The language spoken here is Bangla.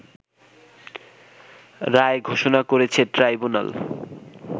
রায় ঘোষণা করেছে ট্রাইব্যুনাল